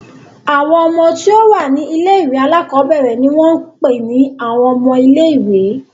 Àwọn ọmọ tí ó wà ní ilé-ìwé alákọ̀ọ́bẹ̀rẹ̀ ni wọ́n ń pè ní àwọn ọmọ ilé-ìwé.